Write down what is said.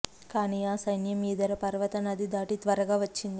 కానీ ఆ సైన్యం ఈదర పర్వత నది దాటి త్వరగా వచ్చింది